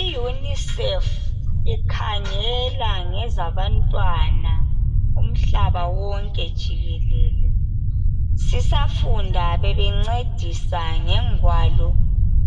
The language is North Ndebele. I UNICEF ikhangela ngezabantwana umhlaba wonke jikelele. Sisafunda bebencedisa ngengwalo